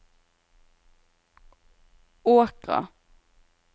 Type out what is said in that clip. Åkra